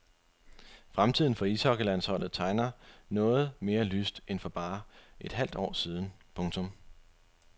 Fremtiden for ishockeylandsholdet tegner noget mere lyst end for bare et halvt år siden. punktum